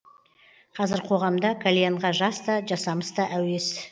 қазір қоғамда кальянға жас та жасамыс та әуес